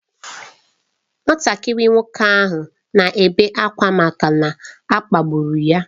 Nwatakịrị nwoke ahụ na-ebe akwa maka na a kpagburu ya.